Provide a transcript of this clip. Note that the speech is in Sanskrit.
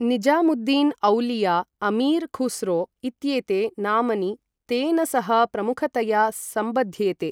निज़ामुद्दीन् औलिया, अमीर् खुस्रो इत्येते नामनी तेन सह प्रमुखतया सम्बध्येते।